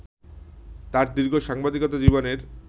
তার দীর্ঘ সাংবাদিকতা জীবনের